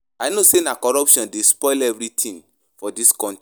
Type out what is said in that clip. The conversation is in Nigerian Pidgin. I know sey na corruption dey spoil everytin for dis country